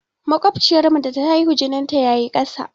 Maƙociyar mu da ta haihu, jinin ta yayi ƙasa.